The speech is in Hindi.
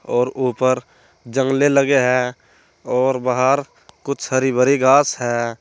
और ऊपर जंगले लगे हैं और बाहर कुछ हरी भरी घास है।